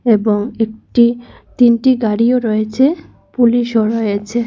এবং একটি তিনটি গাড়িও রয়েছে পুলিশও রয়েছে।